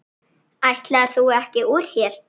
Ætlaðir þú ekki úr hér?